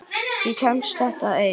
Ég kemst þetta einn.